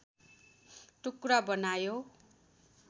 टुक्रा बनायो